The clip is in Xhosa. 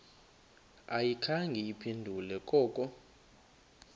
ayikhange iphendule koko